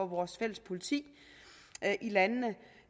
vores fælles politi i landene